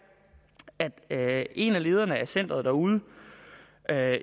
at en af lederne af centeret derude